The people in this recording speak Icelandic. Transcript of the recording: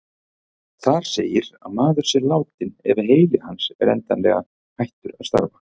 Þar segir að maður sé látinn ef heili hans er endanlega hættur að starfa.